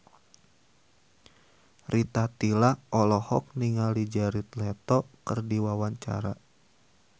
Rita Tila olohok ningali Jared Leto keur diwawancara